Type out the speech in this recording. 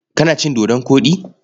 Kana cin dodon koɗi?